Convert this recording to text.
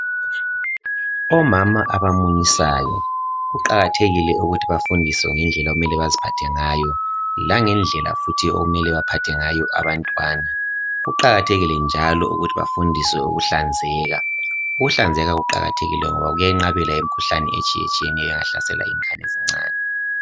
Omama abamunyisayo kuqakathekile ukuthi bafundiswe ngendlela okumele baziphatha ngayo langendlela futhi okumele baphathe ngayo abantwana kuqakathekile njalo ukuthi bafundiswe ukuhlanzeka, ukuhlanzeka kuqakathekile ngoba kwenqabela imikhuhlane etshiye tshiyeneyo engahlasela ingane ezincane.